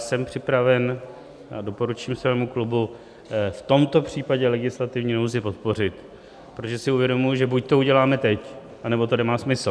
Jsem připraven a doporučuji svému klubu v tomto případě legislativní nouzi podpořit, protože si uvědomuji, že buď to uděláme teď, anebo to nemá smysl.